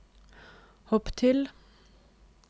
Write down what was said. hopp til